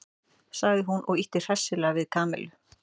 sagði hún og ýtti hressilega við Kamillu.